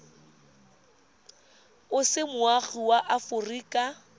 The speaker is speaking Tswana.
o se moagi wa aforika